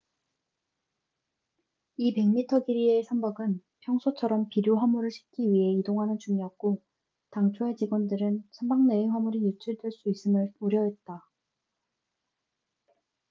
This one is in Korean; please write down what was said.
이 100미터 길이의 선박은 평소처럼 비료 화물을 싣기 위해 이동하는 중이었고 당초에 직원들은 선박 내의 화물이 유출될 수 있음을 우려했다